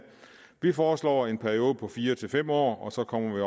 vi foreslår en periode på fire fem år og så kommer vi